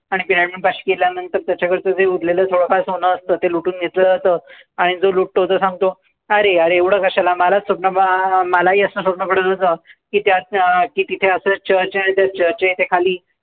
आणि pyramid पाशी गेल्यानंतर त्याच्याकडचं जे उरलेलं थोडं फार सोनं असतं ते लुटून घेतलं जातं आणि जो लुटतो तो सांगतो, अरे यार एवढं कशाला मलाच स्वप्न, मलाही असंच स्वप्न पडत होतं. की त्या तिथे असंच church आहे आणि church च्या इथे खाली